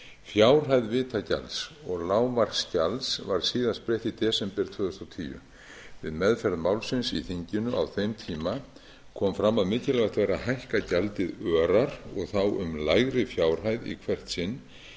fjárhæð vitagjalds og lágmarksgjalds var síðast breytt í desember tvö þúsund og tíu við meðferð málsins í þinginu á þeim tíma kom fram að mikilvægt er að hækka gjaldið örar og þá um lægri fjárhæð í hvert sinn frekar